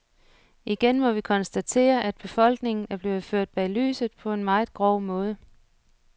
Igen må vi konstatere, at befolkningen er blevet ført bag lyset på en meget grov måde.